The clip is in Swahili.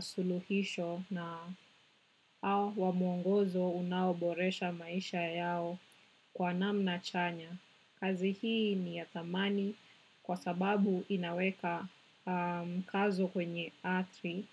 suluhisho na mwongozo unaoboresha maisha yao kwa namna chanya. Kazi hii ni ya thamani kwa sababu inaweka mkazo kwenye atri.